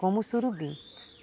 Como o surubim.